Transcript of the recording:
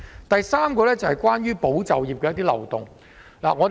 第三，我想談談有關"保就業"的漏洞。